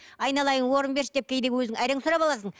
айналайын орын берші деп кейде өзің әрең сұрап аласың